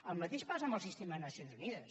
el mateix passa amb el sistema de nacions unides